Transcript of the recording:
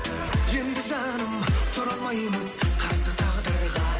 енді жаным тұра алмаймыз қарсы тағдырға